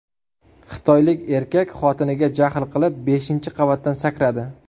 Xitoylik erkak xotiniga jahl qilib beshinchi qavatdan sakradi.